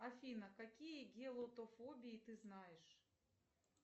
афина какие геотофобии ты знаешь